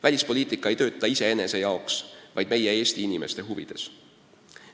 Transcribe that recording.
Välispoliitika ei tööta iseenese jaoks, vaid meie, Eesti inimeste huvides.